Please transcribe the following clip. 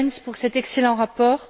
Goerens pour cet excellent rapport.